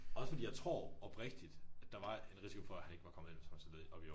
Også fordi jeg tror oprigtigt at der var en risiko for at han ikke var kommet ind hvis han var stillet op i år